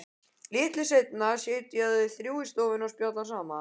Litlu seinna sitja þau þrjú í stofunni og spjalla saman.